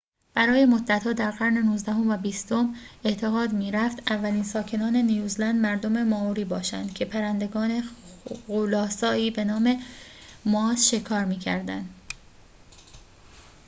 برای مدت‌ها در قرون نوزدهم و بیستم اعتقاد می‌رفت اولین ساکنان نیوزلند مردم مائوری باشند که پرندگان غول‌آسایی به‌نام مواس شکار می‌کردند